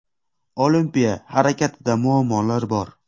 Olimpiya harakatida muammolar bor.